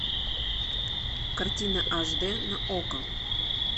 картина аш дэ на окко